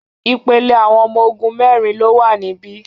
Ìpele awọn ọmọ ogun mẹ́rin ló wà níbí.